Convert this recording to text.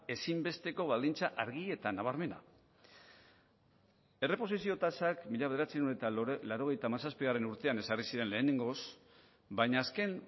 ezinbesteko baldintza argi eta nabarmena erreposizio tasak mila bederatziehun eta laurogeita zazpigarrena urtean ezarri zuren lehenengoz baina azken